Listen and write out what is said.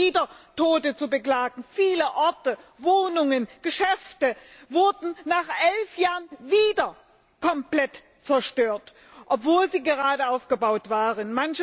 Es waren wieder Tote zu beklagen. Viele Orte, Wohnungen, Geschäfte wurden nach elf Jahren wieder komplett zerstört, obwohl sie gerade aufgebaut worden waren.